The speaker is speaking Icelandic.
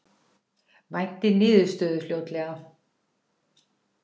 Væntir niðurstöðu fljótlega